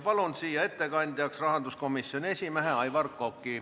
Palun ettekandeks siia rahanduskomisjoni esimehe Aivar Koka.